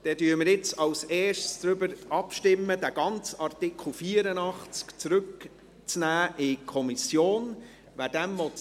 Zuerst stimmen wir darüber ab, ob der ganze Artikel 84 in die Kommission zurückgenommen werden soll.